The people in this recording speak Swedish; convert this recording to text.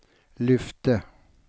lyfte